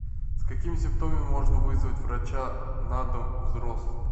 с какими симптомами можно вызвать врача на дом взрослому